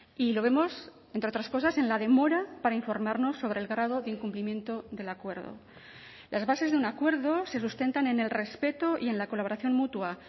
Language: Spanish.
y lo vemos entre otras cosas en la demora para informarnos sobre el grado de incumplimiento del acuerdo las bases de un acuerdo se sustentan en el respeto y en la colaboración mutua